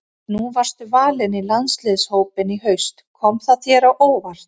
Nú varstu valinn í landsliðshópinn í haust, kom það þér á óvart?